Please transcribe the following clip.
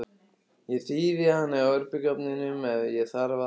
Ég þíði hana í örbylgjuofninum ef á þarf að halda.